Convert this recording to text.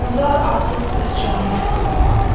Gülzar artıq öz canı üçün qorxurdu.